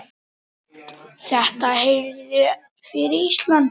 Þetta er heiður fyrir Ísland.